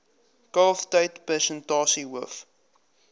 kalftyd persentasie hoof